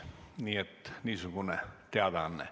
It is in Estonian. Nii et niisugune teadaanne.